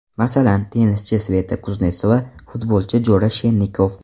Masalan, tennischi Sveta Kuznetsova, futbolchi Jora Shennikov.